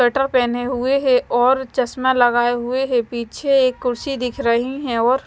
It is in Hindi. स्वेटर पहने हुए हैं और चश्मा लगाए हुए हैं पीछे एक कुर्सी दिख रही है और--